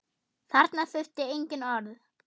Þarna þurfti engin orð.